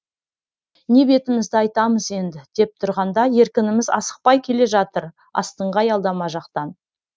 не бетімізді айтамыз енді деп тұрғанда еркініміз асықпай келе жатыр астыңғы аялдама жақтан